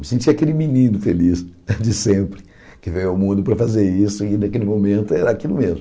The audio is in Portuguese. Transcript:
Me senti aquele menino feliz de sempre que veio ao mundo para fazer isso e naquele momento era aquilo mesmo.